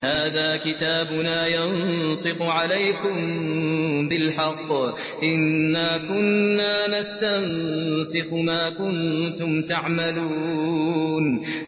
هَٰذَا كِتَابُنَا يَنطِقُ عَلَيْكُم بِالْحَقِّ ۚ إِنَّا كُنَّا نَسْتَنسِخُ مَا كُنتُمْ تَعْمَلُونَ